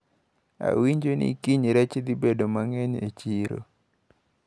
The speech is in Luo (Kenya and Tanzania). Awinjo ni kiny rech dhi bedo mang`eny e chiro.